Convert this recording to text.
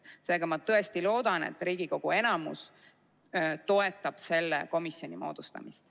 Seega, ma tõesti loodan, et Riigikogu enamus toetab selle komisjoni moodustamist.